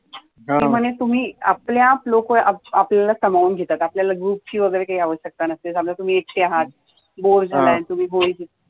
ती म्हणे तुम्ही आपल्या आप लोकं आपल्याला समावुन घेतात आपल्याला ग्रूप ची वगैरे काही अवश्यकता नसते Go in the land